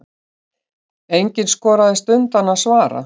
Enginn skoraðist undan að svara.